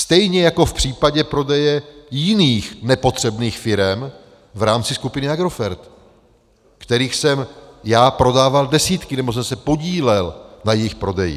Stejně jako v případě prodeje jiných nepotřebných firem v rámci skupiny Agrofert, kterých jsem já prodával desítky, nebo jsem se podílel na jejich prodeji.